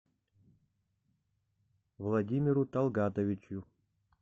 владимиру талгатовичу